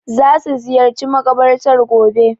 Za su ziyarci makabartar gobe.